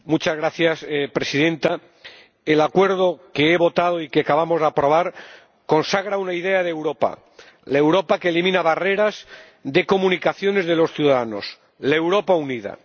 Señora Presidenta, el acuerdo que he votado y que acabamos de aprobar consagra una idea de Europa, la Europa que elimina barreras de comunicaciones entre los ciudadanos, la Europa unida.